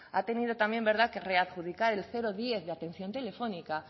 ha tenido también que readjudicar el diez de atención telefónica